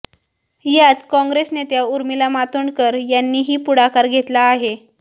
यात काँग्रेस नेत्या उर्मिला मातोंडकर यांनीही पुढाकार घेतला आहे